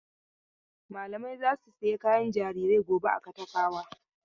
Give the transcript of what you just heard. Malamai za su saya kayan jarirai gobe a Katafawa.